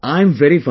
I am very fine